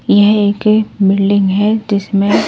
यह एक बिल्डिंग है जिसमें--